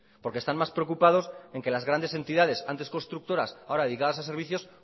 porque están más preocupados en que las grandes entidades antes constructoras ahora ligadas a servicio